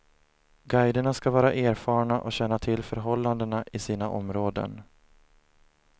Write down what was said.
Guiderna ska vara erfarna och känna till förhållandena i sina områden.